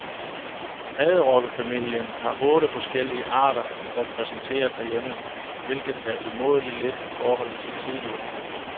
Padderokkefamilien har otte forskellige arter repræsenteret herhjemme, hvilket er umådelig lidt i forhold til tidligere.